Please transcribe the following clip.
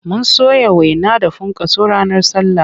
Mun soya waina da funkaso ranar sallah.